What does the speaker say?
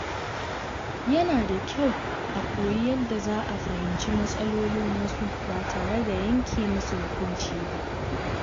Yana da kyau a koyi yadda za a fahimci matsalolin wasu ba tare da yanke musu hukunci ba.